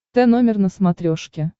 тномер на смотрешке